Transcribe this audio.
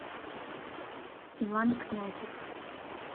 иван князев